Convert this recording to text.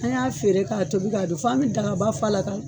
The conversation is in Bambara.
An y'a feere ka tobi ka doun. F'an be dagaba fa la